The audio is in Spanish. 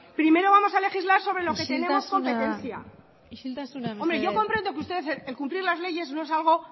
primero vamos a legislar sobre lo que tenemos competencia isiltasuna isiltasuna mesedez hombre yo comprendo que ustedes el cumplir las leyes no es algo